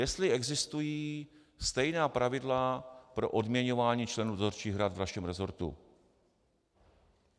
Jestli existují stejná pravidla pro odměňování členů dozorčích rad ve vašem resortu.